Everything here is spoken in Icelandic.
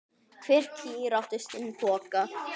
Hver kýr átti sinn poka.